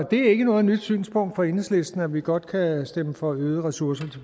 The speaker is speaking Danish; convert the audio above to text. det er ikke noget nyt synspunkt fra enhedslistens side at vi godt kan stemme for øgede ressourcer